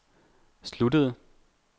sluttede